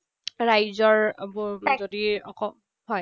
ৰাইজৰ এইবোৰ যদি হয়।